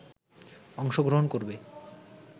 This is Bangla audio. অংশগ্রহণ করবে